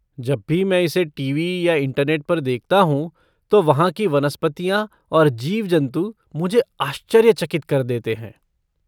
जब भी मैं इसे टीवी या इंटरनेट पर देखता हूँ तो वहाँ की वनस्पतियाँ और जीव जंतु मुझे आश्चर्यचकित कर देते हैं।